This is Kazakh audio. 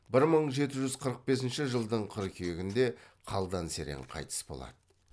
бір мың жеті жүз қырық бесінші жылдың қыркүйегінде қалдан серен қайтыс болады